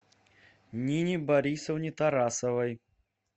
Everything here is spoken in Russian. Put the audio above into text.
нине борисовне тарасовой